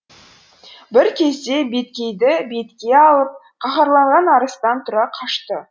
бір кезде беткейді бетке алып қаһарланған арыстан тұра қашты